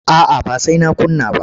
A'a ba sai na kunna ba.